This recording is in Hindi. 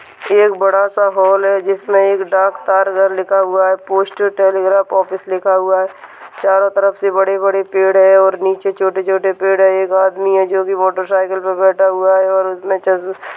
ये एक बड़ा सा हॉल है जिसमे एक डाक तार घर लिखा हुआ है पोस्ट टेलीग्राफ ऑफिस लिखा हुआ है चारों तरफ से बड़े-बड़े पेड़ है और नीचे छोटे-छोटे पेड़ है एक आदमी है जो की मोटरसाइकिल पे बेठा हुआ हैं। और उसने चश--